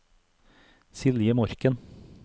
Silje Morken